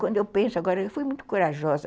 Quando eu penso agora, eu fui muito corajosa.